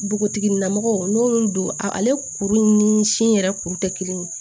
Npogotiginin na mɔgɔ n'olu don ale kuru in ni si yɛrɛ kuru tɛ kelen ye